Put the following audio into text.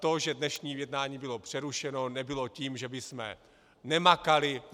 To, že dnešní jednání bylo přerušeno, nebylo tím, že bychom nemakali.